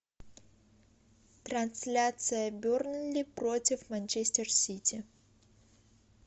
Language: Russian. трансляция бернли против манчестер сити